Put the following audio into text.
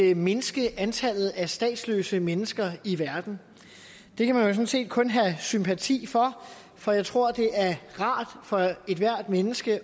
at mindske antallet af statsløse mennesker i verden det kan man jo sådan set kun have sympati for for jeg tror det er rart for ethvert menneske